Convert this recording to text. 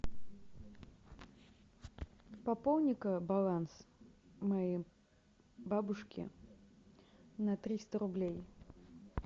пополни ка баланс моей бабушки на триста рублей